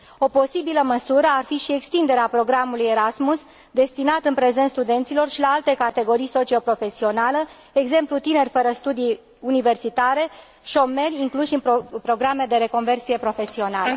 O posibilă măsură ar fi și extinderea programului Erasmus, destinat în prezent studenților, și la alte categorii socio profesionale, de exemplu tineri fără studii universitare sau șomeri incluși în programe de reconversie profesională.